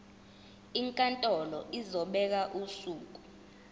inkantolo izobeka usuku